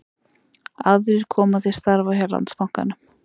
Aðrir koma til starfa hjá Landsbankanum